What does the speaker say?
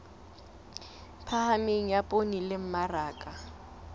phahameng ya poone le mmaraka